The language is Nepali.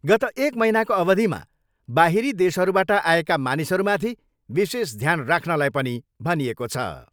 गत एक महिनाको अवधिमा बाहिरी देशहरूबाट आएका मानिसहरूमाथि विशेष ध्यान राख्नलाई पनि भनिएको छ।